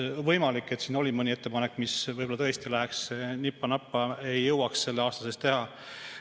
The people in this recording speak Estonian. Võimalik, et siin oli mõni ettepanek, mis võib-olla tõesti oleks nipa-napa ja mida ei jõuaks selle aasta sees teha.